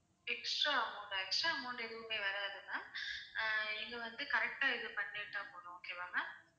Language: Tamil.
extra amount ஆ extra amount எதுவுமே வராது ma'am ஆஹ் நீங்க வந்து correct ஆ இது பண்ணிட்டா போதும் okay வா ma'am